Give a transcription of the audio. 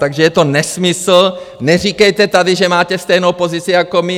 Takže je to nesmysl, neříkejte tady, že máte stejnou pozici jako my!